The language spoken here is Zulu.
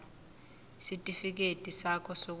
isitifikedi sakho sokuzalwa